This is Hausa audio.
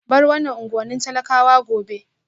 Bar wannan unguwannin talakawa gobe